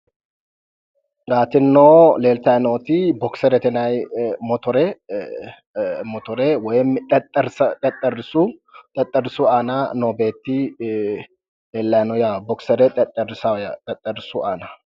Leeltayi nooti bokserete yinayi motore eee xexxerrisu xexxerrisu aana noo beettii lellayi no yaate bokisere xexxerrisu yaano